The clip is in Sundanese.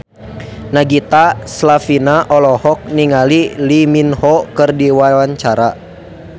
Nagita Slavina olohok ningali Lee Min Ho keur diwawancara